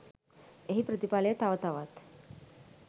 එහි ප්‍රතිඵලය තව තවත්